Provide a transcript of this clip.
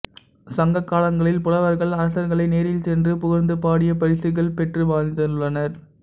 சங்க காலங்களில் புலவர்கள் அரசர்களை நேரில் சென்று புகழ்ந்து பாடியே பரிசுகள் பெற்று வாழ்ந்துள்ளனர்